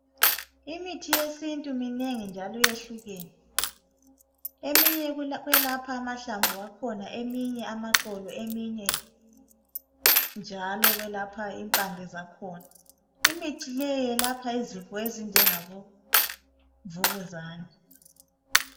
Imithi yesintu minengi njalo yehlukene eminye ukulapha amahlamvu akhona eminye amaxolo , eminye njalo kwelapha impande zakhona , imithi leyi yelapha izifo ezinjengabo mvukuzane